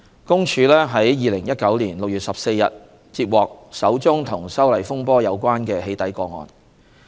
公署於2019年6月14日接獲首宗與修例風波有關的"起底"個案。